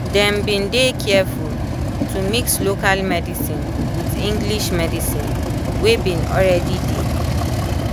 dem been dey careful to mix local medicine with english medicine wey been already dey